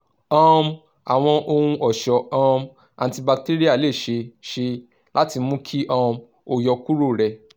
um awọn ohun-ọṣọ um antibacterial le ṣee ṣe lati mu ki um o yọkuro rẹ